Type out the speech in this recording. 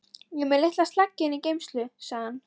Ég er með litla sleggju inni í geymslu, sagði hann.